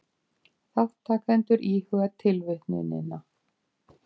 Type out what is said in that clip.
Þátttakendur íhuga tilvitnunina.